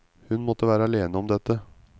Hun måtte være alene om dette.